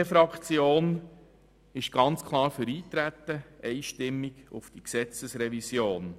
Die glp-Fraktion ist ganz klar und einstimmig für Eintreten.